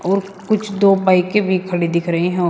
और कुछ दो बाईकें भी खड़ी दिख रही हो।